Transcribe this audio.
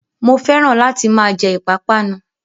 Mo fẹ́ràn láti máa jẹ ìpápánu